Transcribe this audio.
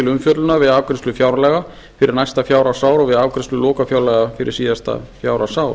umfjöllunar við afgreiðslu fjárlaga fyrir næsta fjárhagsár eða við afgreiðslu lokafjárlaga fyrir síðasta fjárhagsár